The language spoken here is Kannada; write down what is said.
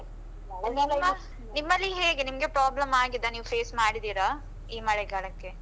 ನಿಮ್ಮಲ್ಲಿ ಹೇಗೆ ನಿಮ್ಗೆ problem ಆಗಿದ? ನೀವು face ಮಾಡಿದ್ದೀರಾ ಈ ಮಳೆಗಾಲಕ್ಕೆ?